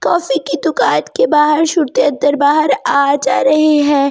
copy के दुकान के बाहर सुरते अंदर-बाहर आ जा रहे हैं बत्तियां--